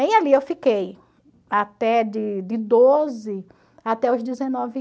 E ali eu fiquei até de de doze até os dezenove